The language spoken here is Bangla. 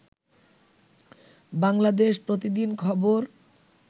বাংলাদেশ প্রতিদিন খবর